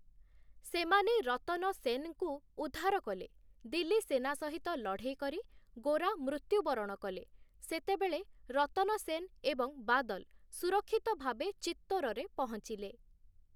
ସେମାନେ ରତନ ସେନ୍‌ଙ୍କୁ ଉଦ୍ଧାର କଲେ, ଦିଲ୍ଲୀ ସେନା ସହିତ ଲଢ଼େଇ କରି ଗୋରା ମୃତ୍ୟୁବରଣ କଲେ, ସେତେବେଳେ ରତନ ସେନ୍ ଏବଂ ବାଦଲ୍‌ ସୁରକ୍ଷିତ ଭାବେ ଚିତ୍ତୋରରେ ପହଞ୍ଚିଲେ ।